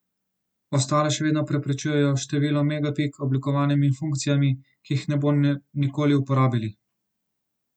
Ostale še vedno prepričujejo s številom megapik, oblikovanjem in funkcijami, ki jih ne bodo nikoli uporabili.